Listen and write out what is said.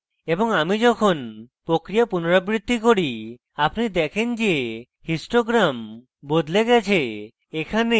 এবং আমি যখন প্রক্রিয়া পুনরাবৃত্তি করি আপনি দেখেন যে histogram বদলে গেছে